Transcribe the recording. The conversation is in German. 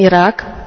im Irak